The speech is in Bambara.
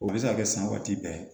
O bɛ se ka kɛ san waati bɛɛ